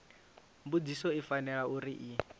mbudziso i fanela uri i